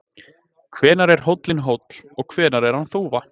hvenær er hóllinn hóll og hvenær er hann þúfa